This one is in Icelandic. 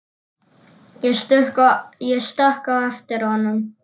Ég stökk á eftir honum.